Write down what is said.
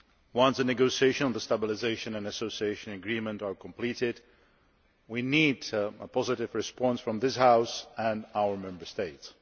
Once the negotiations on the Stabilisation and Association Agreement are completed, we need a positive response from this House and our Member States.